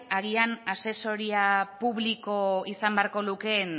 agian asesoria publiko izan beharko lukeen